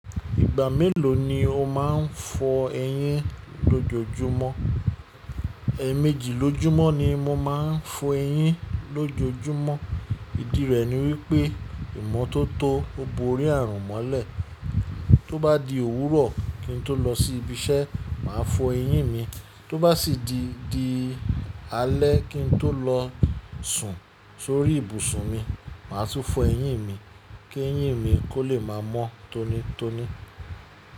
Ìgbà mélòó ni o máa ń fọ eyín lójojúmọ́? Ẹ̀ẹ̀mejì lójúmọ́ ni mo máa ń fọ eyín lójojúmọ́. Ìdí rẹ̀ ni wípé, ìmọ́tótó ó borí àrùn mọ́lẹ̀. Tó bá di òwúrọ̀ kí n tó lọ sí ibi iṣẹ́, màá fọ eyín mi. Tó bá sì di alẹ́ kí n tó lọ sùn sórí ibùsùn mi, màá tún fọ eyín mi kí eyín mi kó lè máa mọ́ tónítóní.